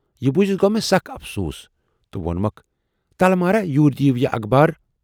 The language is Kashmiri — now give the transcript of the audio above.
"یہِ بوٗزِتھ گَو مے سَخ اَفسوٗس تہٕ وونمَکھ"تلہٕ مہراہ یوٗرۍ دِیِو یہِ اخبار